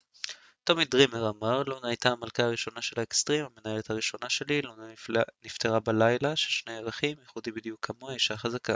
טומי דרימר אמר לונה הייתה המלכה הראשונה של האקטסרים המנהלת הראשונה שלי לונה נפטרה בלילה של שני ירחים ייחודי בדיוק כמוה אשה חזקה